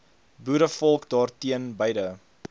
boerevolk daarteen beide